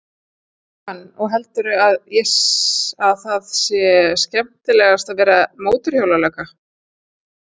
Jóhann: Og heldurðu að það sé skemmtilegast að vera mótorhjólalögga?